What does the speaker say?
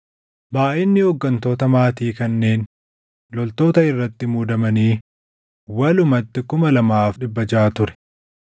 Baayʼinni hooggantota maatii kanneen loltoota irratti muudamanii walumatti 2,600 ture.